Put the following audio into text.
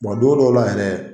don dɔw la yɛrɛ